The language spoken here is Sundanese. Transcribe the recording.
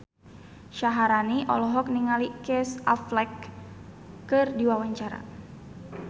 Syaharani olohok ningali Casey Affleck keur diwawancara